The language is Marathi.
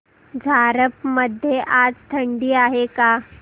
झारप मध्ये आज थंडी आहे का